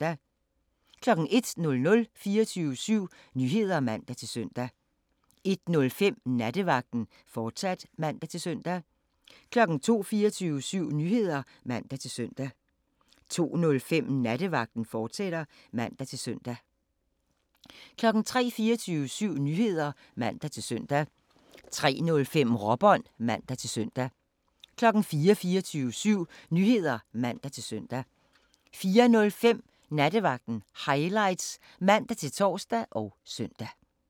01:00: 24syv Nyheder (man-søn) 01:05: Nattevagten, fortsat (man-søn) 02:00: 24syv Nyheder (man-søn) 02:05: Nattevagten, fortsat (man-søn) 03:00: 24syv Nyheder (man-søn) 03:05: Råbånd (man-søn) 04:00: 24syv Nyheder (man-søn) 04:05: Nattevagten Highlights (man-tor og søn)